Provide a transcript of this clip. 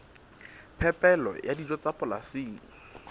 phepelo ya dijo tsa polasing